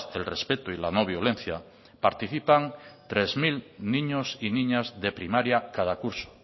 el respecto y la no violencia participan tres mil niños y niñas de primaria cada curso